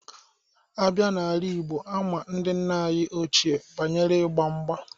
A bịa n'ala igbo, ama ndị nna anyị oche banyere igba mgba.